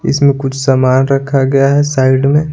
इसमें कुछ सामान रखा गया है साइड में।